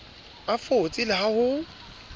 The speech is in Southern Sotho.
a fotse le ha ho